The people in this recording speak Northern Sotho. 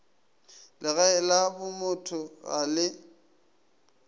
legae la bomotho ga le